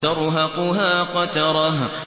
تَرْهَقُهَا قَتَرَةٌ